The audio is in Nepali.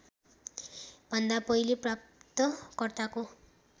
भन्दा पहिले प्राप्तकर्ताको